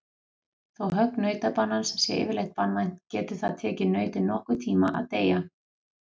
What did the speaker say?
Þó högg nautabanans sé yfirleitt banvænt getur það tekið nautið nokkurn tíma að deyja.